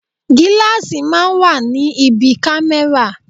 Gíláàsì máa ń wà ní ibi kámẹ́rà.